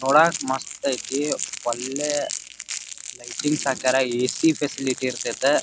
ನೋಡಕ್ ಮಸ್ತ್ ಐತಿ ವಲ್ಲೆ ಲೈಟಿಂಗ್ಸ್ ಹಾಕ್ಯಾರ. A C facility ಇರತೈತ.